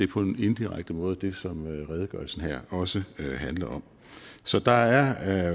på en indirekte måde det som redegørelsen her også handler om så der er